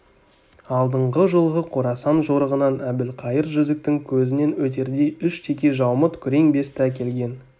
алдыңғы жылғы қорасан жорығынан әбілқайыр жүзіктің көзінен өтердей үш текежаумыт күрең бесті әкелген